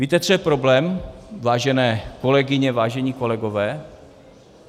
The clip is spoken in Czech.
Víte, co je problém, vážené kolegyně, vážení kolegové?